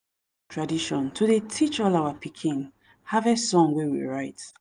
tradition to dey teach all our pikin harvest song wey we write.